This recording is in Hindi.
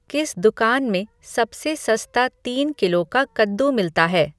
किस दुकान में सबसे सस्ता तीन किलो का कद्दू मिलता है